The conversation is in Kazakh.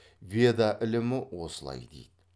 веда ілімі осылай дейді